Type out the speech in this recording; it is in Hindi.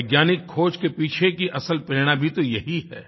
वैज्ञानिक ख़ोज के पीछे की असल प्रेरणा भी तो यही है